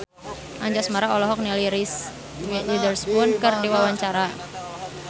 Anjasmara olohok ningali Reese Witherspoon keur diwawancara